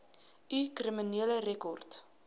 u kriminele rekord